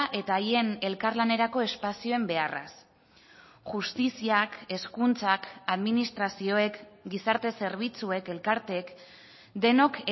eta haien elkarlanerako espazioen beharraz justiziak hezkuntzak administrazioek gizarte zerbitzuek elkarteek denok